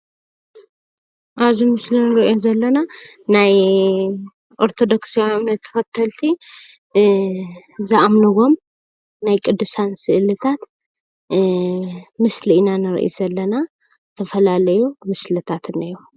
አብዚ ምስሊ እንሪኦም ዘለና ናይ ኦርተዶክስ እምነት ተከተልቲ ዝኣምንዎም ናይ ቁዱሳን ስእሊታት ምስሊ ኢና ንርኢ ዘለና፡፡ ዝተፈላለዩ ምስልታት እንሄዉ፡፡